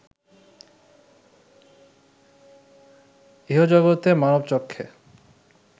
ইহজগতে মানবচক্ষে